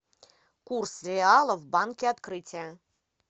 курс реала в банке открытие